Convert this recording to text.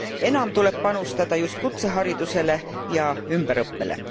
Enam tuleb panustada just kutseharidusele ja ümberõppele.